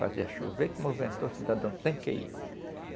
Fazia chover que movimentou o cidadão sem ir.